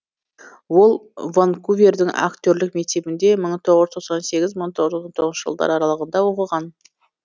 ол ванкувердің актерлік мектебінде мың тоғыз жүз тоқсан сегіз мың тоғыз жүз тоқсан тоғызыншы жылдар аралығыда оқыған